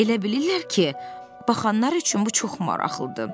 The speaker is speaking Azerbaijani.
Elə bilirlər ki, baxanlar üçün bu çox maraqlıdır.